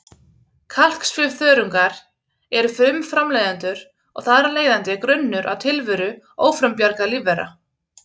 Kalksvifþörungar eru frumframleiðendur og þar af leiðandi grunnur að tilveru ófrumbjarga lífvera.